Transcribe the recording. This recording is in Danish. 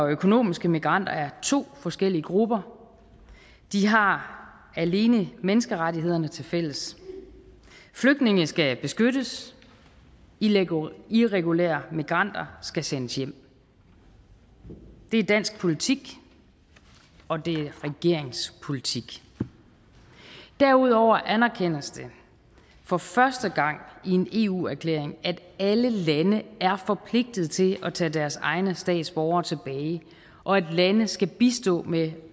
økonomiske migranter er to forskellige grupper de har alene menneskerettighederne tilfælles flygtninge skal beskyttes irregulære irregulære migranter skal sendes hjem det er dansk politik og det er regeringens politik derudover anerkendes det for første gang i en eu erklæring at alle lande er forpligtet til at tage deres egne statsborgere tilbage og at lande skal bistå med